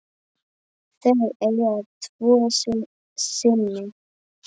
Þau eiga tvo syni.